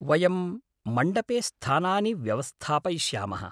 वयं मण्डपे स्थानानि व्यवस्थापयिष्यामः।